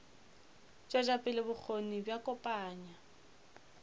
tšwetša pele bokgoni bja kopanya